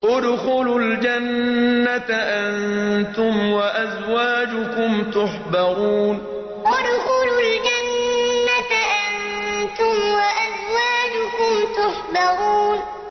ادْخُلُوا الْجَنَّةَ أَنتُمْ وَأَزْوَاجُكُمْ تُحْبَرُونَ ادْخُلُوا الْجَنَّةَ أَنتُمْ وَأَزْوَاجُكُمْ تُحْبَرُونَ